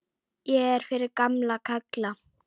Ég er fyrir gamla kalla.